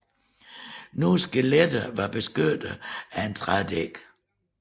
Nogle skeletter var beskyttet af et trædække